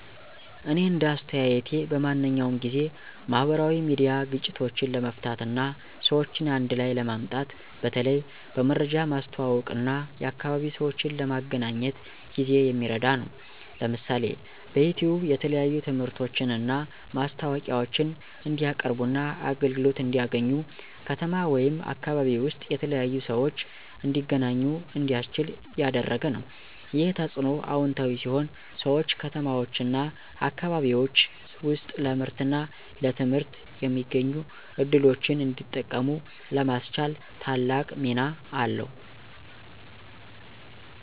እኔ እንደ አስተያየቴ በማንኛውም ጊዜ፣ ማህበራዊ ሚዲያ ግጭቶችን ለመፍታት እና ሰዎችን አንድ ላይ ለማምጣት በተለይ በመረጃ ማስተዋወቅ እና የአካባቢ ሰዎችን ለመገናኘት ጊዜ የሚረዳ ነው። ለምሳሌ፣ በዩቲዩብ የተለያዩ ትምህርቶችን እና ማስታወቂያዎችን እንዲቀያርቡና አገልግሎት እንዲያገኙ፣ ከተማ ወይም አካባቢ ውስጥ የተለያዩ ሰዎች እንዲተገናኙ እንዲያስችል ያደረገ ነው። ይህ ተጽዕኖ አዎንታዊ ሲሆን ሰዎች ከተማዎችና አካባቢዎች ውስጥ ለምርትና ለትምህርት የሚገኙ ዕድሎችን እንዲጠቀሙ ለማስቻል ታላቅ ሚና አለው።